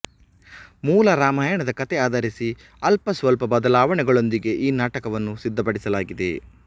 ಮೂಲ ರಾಮಾಯಣದ ಕಥೆ ಆಧರಿಸಿ ಅಲ್ಪ ಸ್ವಲ್ಪ ಬದಲಾವಣೆಗಳೊಂದಿಗೆ ಈ ನಾಟಕವನ್ನು ಸಿದ್ದಪಡಿಸಲಾಗಿದೆ